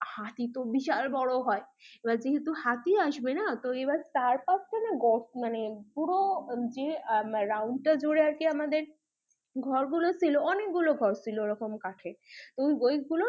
হাতি তো বিশাল বড়ো হয়, এবার যেহেতু হাতি আসবেনা এবার চার পাঁচখানা গর্ত মানে পুরো রাউন্ডটা জুড়ে আমাদের ঘর গুলো ছিল অনেক গুলো ঘর ছিল কাঠের তো ওই গুলোর